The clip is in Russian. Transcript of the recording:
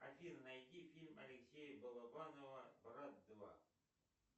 афина найди фильм алексея балабанова брат два